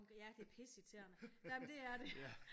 Ja det er pisse irriterende ej men det er det